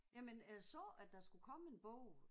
Jamen jeg så at der skulle komme en bog